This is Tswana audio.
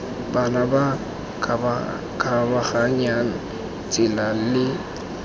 bana ba ba kgabaganyang tsela